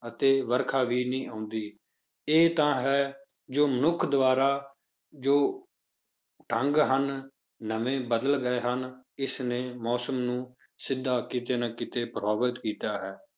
ਅਤੇ ਵਰਖਾ ਵੀ ਨਹੀਂ ਹੁੰਦੀ, ਇਹ ਤਾਂ ਹੈ ਜੋ ਮਨੁੱਖ ਦੁਆਰਾ ਜੋ ਢੰਗ ਹਨ, ਨਵੇਂ ਬਦਲ ਗਏ ਹਨ, ਇਸਨੇ ਮੌਸਮ ਨੂੰ ਸਿੱਧਾ ਕਿਤੇ ਨਾ ਕਿਤੇ ਪ੍ਰਭਾਵਿਤ ਕੀਤਾ ਹੈ।